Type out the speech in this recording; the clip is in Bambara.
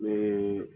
Ne ye